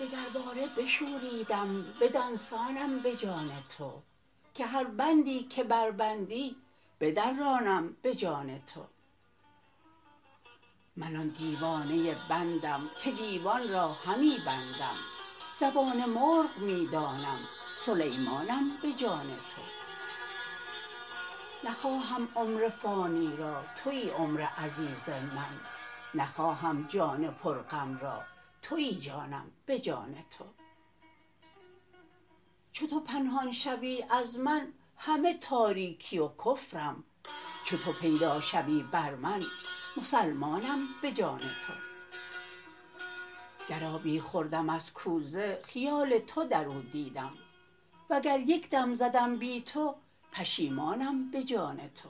دگرباره بشوریدم بدان سانم به جان تو که هر بندی که بربندی بدرانم به جان تو من آن دیوانه بندم که دیوان را همی بندم زبان مرغ می دانم سلیمانم به جان تو نخواهم عمر فانی را توی عمر عزیز من نخواهم جان پرغم را توی جانم به جان تو چو تو پنهان شوی از من همه تاریکی و کفرم چو تو پیدا شوی بر من مسلمانم به جان تو گر آبی خوردم از کوزه خیال تو در او دیدم وگر یک دم زدم بی تو پشیمانم به جان تو